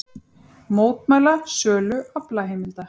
Mótmæla sölu aflaheimilda